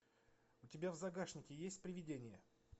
у тебя в загашнике есть привидение